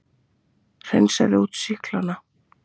Hreinsaði út sýklana.